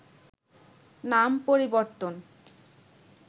নাম পরিবর্তন